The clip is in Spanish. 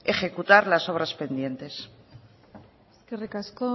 ejecutar las obras pendientes eskerrik asko